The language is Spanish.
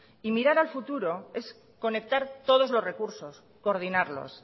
y mirar al futuro es conectar todos los recursos coordinarlos